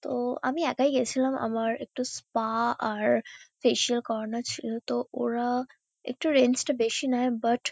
ও- আমি একাই গেছিলাম। আমার একটু স্পা আর ফেসিয়াল করানোর ছিল। তো ওরা-আ একটু রেঞ্জ -টা বেশি নেয়। বাট ।